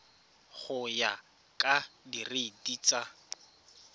go ya ka direiti tsa